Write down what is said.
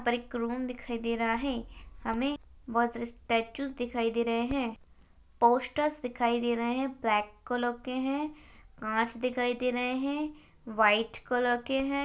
यहा पर एक रूम दिखाई दे रहा है हमे स्टॅचूस दिखाई दे राहे है पोस्टर्स दिखाई दे रहे है ब्लॅक कलर के है कांच दिखाई दे रहे है व्हाईट कलर के है।